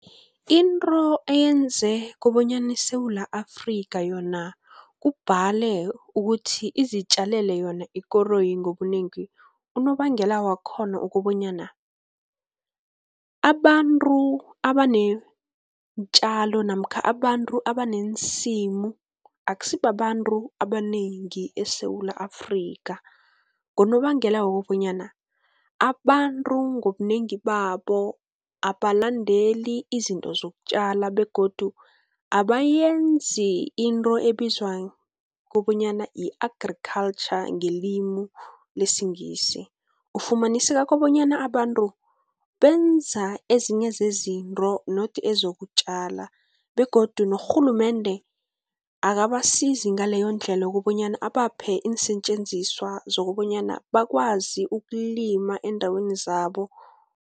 Into eyenze kobonyana iSewula Afrika yona kubhale ukuthi izitjalele yona ikoroyi ngobunengi, unobangela wakhona ukobonyana, abantu abaneentjalo namkha abantu abaneensimu akusibabantu abanengi eSewula Afrika, ngonobangela wokobanyana abantu ngobunengi babo abalandeli izinto zokutjala, begodu abayenzi into ebizwa kobanyana yi-Agriculture ngelimi lesiNgisi. Ufumaniseka kobanyana abantu benza ezinye zezinto not ezokutjala, begodu norhulumende akabasizi ngaleyo ndlela kobonyana abaphe iinsetjenziswa zokobonyana bakwazi ukulima eendaweni zabo.